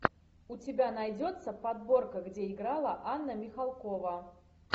у тебя найдется подборка где играла анна михалкова